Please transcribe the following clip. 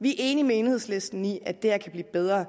vi enige med enhedslisten i at det her kan blive bedre